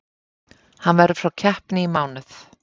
Hann verður frá keppni í mánuð.